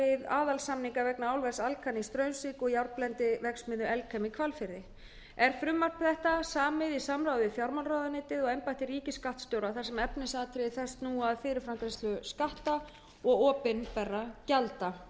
við aðalsamning vegna álvers alcan í straumsvík og járnblendiverksmiðju elkem í hvalfirði er frumvarp þetta samið í samráði við fjármálaráðuneytið og embætti ríkisskattstjóra þar sem efnisatriði þess snúa að fyrirframgreiðslu skatta og opinberra gjalda